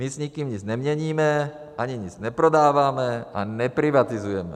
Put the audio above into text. My s nikým nic neměníme ani nic neprodáváme a neprivatizujeme.